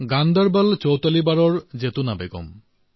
গান্দৰবলৰ চোটলীবাৰৰ জৈতুনা বেগম